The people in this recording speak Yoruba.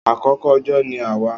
Akókó ójó ni àwà